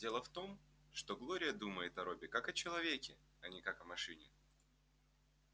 дело в том что глория думает о робби как о человеке а не как о машине